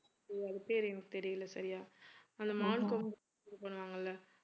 அது பெயர் எனக்கு தெரியல சரியா அந்த பண்ணுவாங்கல்ல